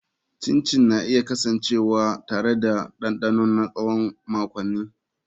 Chin chin na iya kasancewa tare da dandano na tsawon makonni.